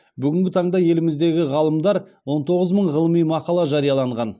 бүгінгі таңда еліміздегі ғалымдар он тоғыз мың ғылыми мақала жарияланған